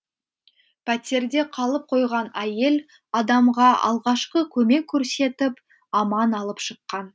пәтерде қалып қойған әйел адамға алғашқы көмек көрсетіп аман алып шыққан